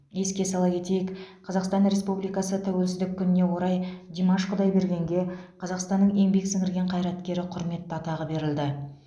еске сала кетейік қазақстан республикасы тәуелсіздік күніне орай димаш құдайбергенге қазақстанның еңбек сіңірген қайраткері құрметті атағы берілді